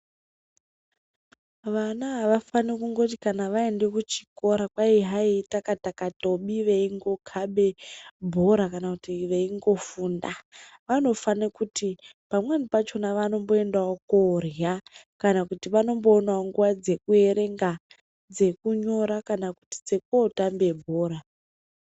Vana avafani kungoti kana vaenda kuchikora kwai hai itaka-taka birei veingokabe bhora kana kuti veingofunda. Vanofane kuti pamweni pacho vanomboendewo korya kana kuti vanomboonewo nguva dzekuerenga, dzekunyora kana kuti dzekootambe bhora.